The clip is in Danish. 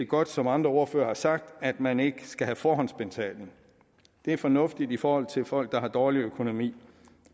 godt som andre ordførere har sagt at man ikke skal have forhåndsbetaling det er fornuftigt i forhold til folk der har dårlig økonomi